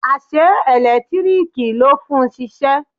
Ase elekitiriki lo fun sise